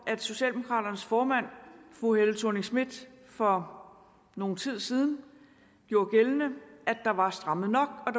at socialdemokraternes formand fru helle thorning schmidt for nogen tid siden gjorde gældende at der var strammet nok